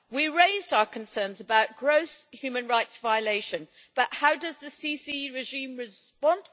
We raised our concerns about gross human rights violations, but how does the Sisi regime respond?